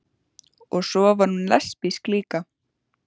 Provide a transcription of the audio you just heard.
Og svo var hún lesbísk líka.